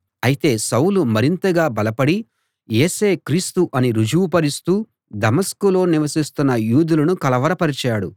అయితే సౌలు మరింతగా బలపడి యేసే క్రీస్తు అని రుజువు పరుస్తూ దమస్కులో నివసిస్తున్న యూదులను కలవరపరచాడు